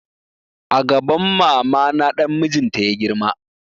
A gaban mama na dan mijin ta ya girma